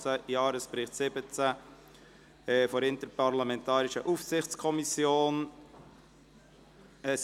Budget 2018 und Jahresbericht 2017 der Interparlamentarischen Aufsichtskommission […]».